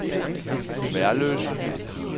Værløse